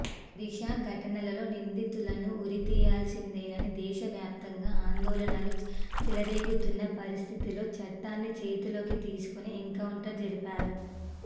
దిశా ఘటనలో నిందితులను ఉరి తీయాల్సిందేనని దేశవ్యాప్తంగా ఆందోళనలు చెలరేగుతున్న పరిస్థితుల్లో చట్టాన్ని చేతుల్లోకి తీసుకుని ఎన్కౌంటర్ జరిపారు